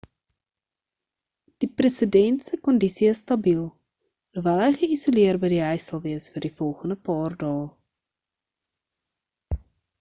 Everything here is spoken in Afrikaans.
die president se kondisie is stabiel alhoewel hy geisoleerd by die huis sal wees vir die volgende paar dae